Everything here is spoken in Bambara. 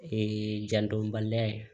Ee jandɔnbaliya ye